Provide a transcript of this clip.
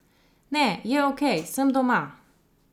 Ne, je okej, sem doma.